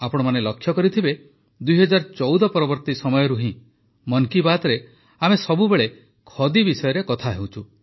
ଆପଣମାନେ ଲକ୍ଷ୍ୟ କରିଥିବେ ୨୦୧୪ ପରବର୍ତ୍ତୀ ସମୟରୁ ହିଁ ମନ୍ କି ବାତ୍ରେ ଆମେ ସବୁବେଳେ ଖଦି ବିଷୟରେ କଥା ହେଉଛୁ